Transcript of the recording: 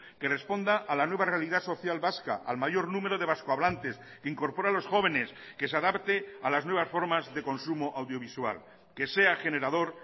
que responda a la nueva realidad social vasca al mayor número de vasco hablantes que incorpora a los jóvenes que se adapte a las nuevas formas de consumo audiovisual que sea generador